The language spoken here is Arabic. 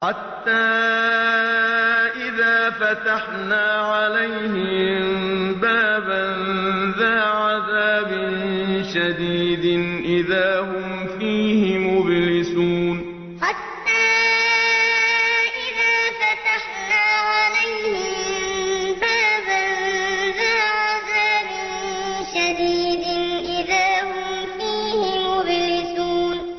حَتَّىٰ إِذَا فَتَحْنَا عَلَيْهِم بَابًا ذَا عَذَابٍ شَدِيدٍ إِذَا هُمْ فِيهِ مُبْلِسُونَ حَتَّىٰ إِذَا فَتَحْنَا عَلَيْهِم بَابًا ذَا عَذَابٍ شَدِيدٍ إِذَا هُمْ فِيهِ مُبْلِسُونَ